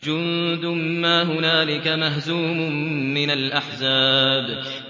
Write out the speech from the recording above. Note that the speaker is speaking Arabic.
جُندٌ مَّا هُنَالِكَ مَهْزُومٌ مِّنَ الْأَحْزَابِ